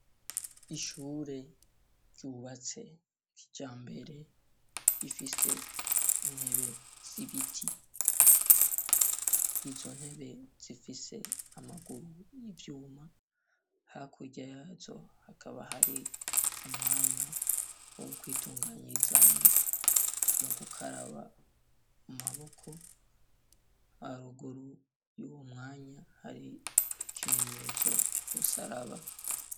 Ishure ryubatse kijambere, rifise intebe z'ibiti. Izo ntebe zifise amaguru y'ivyuma, hakurya yazo hakaba hari umwanya wo kwitunganizamwo mu gukaraba amaboko, haruguru y'uwo mwanya hari ikimenyetso c'umusaraba.